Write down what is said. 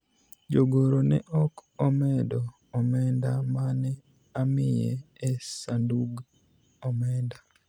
jogoro ne ok omedo omenda mane amiye e sandug omenda